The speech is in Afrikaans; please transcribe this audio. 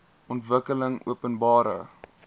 ontwikkelingopenbare